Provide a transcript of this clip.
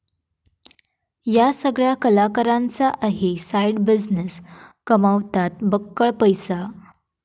या सगळ्या कलाकारांचा आहे साईड बिझनेस, कमवतात बक्कळ पैसा